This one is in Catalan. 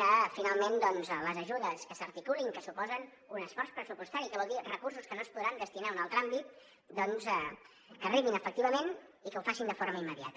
que finalment les ajudes que s’articulin i que suposen un esforç pressupostari i que vol dir recursos que no es podran destinar a un altre àmbit doncs arribin efectivament i ho facin de forma immediata